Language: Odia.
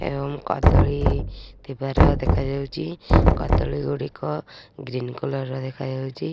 ଏବଂ କଦଳୀ ଥିବାର ଦେଖା ଯାଉଛି କଦଳୀ ଗୋଟିକ ଗ୍ରୀନ କଲର ଦେଖାଯାଉଛି।